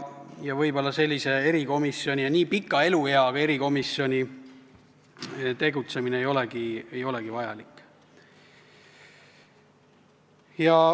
Võib-olla nii pika elueaga erikomisjoni tegutsemine ei olegi vajalik.